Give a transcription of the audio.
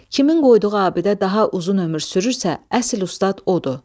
Kimin qoyduğu abidə daha uzun ömür sürürsə, əsl ustad odur.